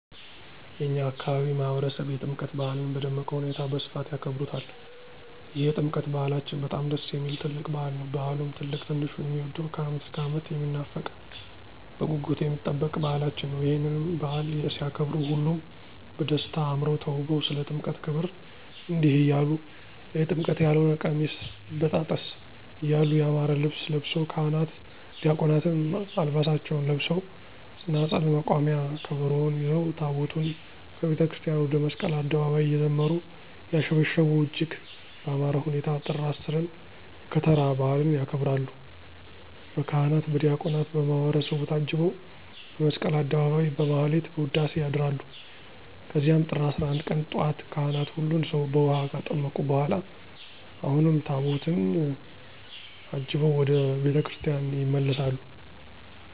የእኛ አካባቢ ማህበረሰብ የጥምቀት በዓልን በደመቀ ሁኔታ በስፋት ያከብሩታል ይህ የጥምቀት በዓላችን በጣም ደስ የሚል ትልቅ በዓል ነዉ። በዓሉም ትልቅ ትንሹ የሚወደዉ ከዓመት እስከ ዓመት የሚናፈቅ በጉጉት የሚጠበቅ በዓላችን ነዉ። ይህንንም በዓል ሲያከብሩ ሁሉም በደስታ አምረዉ ተዉበዉ ስለ ጥምቀት ክብር እንዲህ እያሉ<የጥምቀት ያልሆነ ቀሚስ ይበጣጠስ> እያሉ ያማረ ልብስ ለብሰዉ ካህናት ዲያቆናትም ዓልባሳታቸዉን ለብሰዉ ፅናፅል፣ መቋሚያ፣ ከበሮዉን ይዘዉ ታቦታትን ከቤተክርስቲያን ወደ መስቀል አደባባይ እየዘመሩ; እያሸበሸቡ እጅግ በአማረ ሁኔታ ጥር 10ን የከተራ በዓልን ያከብራሉ። በካህናት በዲያቆናት በማህበረሰቡ ታጅበዉ በመስቀል አደባባይ በማህሌት በዉዳሴ ያድራሉ ከዚያም ጥር 11 ቀን ጧት ካህናት ሁሉን ሰዉ በዉሀ ካጠመቁ በኋላ አሁንም ታቦታትን አጅበዉ ወደ ቤተ ክርስቲያን ይመለሳሉ።